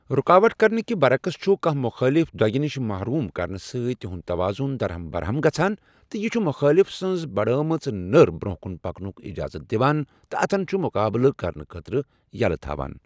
رُکاوٹ کرنٕکہ برعکس چھُ کانٛہہ مُخٲلِف دۄگہِ نِش محروم کرنہٕ سۭتۍ تہنٛد تَوازُن دَرہم بَرہَم گژھان تہٕ یہِ چھُ مُخٲلِف سنٛز بَڑٲومٕژ نٔر برونٛہہ کُن پکنُک اِجازت دِوان تہٕ اتھِن چھُ مُقابلہٕ کرنہٕ خٲطرٕ یَلہٕ تھاوان۔